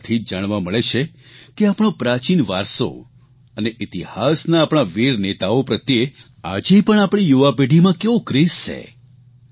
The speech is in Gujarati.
તેનાથી જ જાણવા મળે છે કે આપણો પ્રાચીન વારસો અને ઇતિહાસના આપણા વીર નેતાઓ પ્રત્યે આ જે પણ આપણી યુવાપેઢીમાં કેવો ક્રેઝ છે